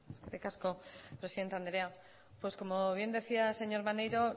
eskerrik asko presidente anderea pues como bien decía el señor maneiro